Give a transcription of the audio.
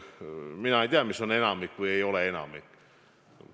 Mina ei tea, mis on enamik või ei ole enamik.